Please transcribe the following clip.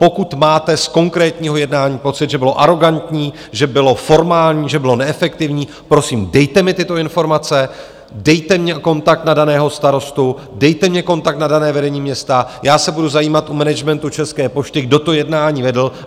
Pokud máte z konkrétního jednání pocit, že bylo arogantní, že bylo formální, že bylo neefektivní, prosím, dejte mi tyto informace, dejte mi kontakt na daného starostu, dejte mi kontakt na dané vedení města, já se budu zajímat u managementu České pošty, kdo to jednání vedl.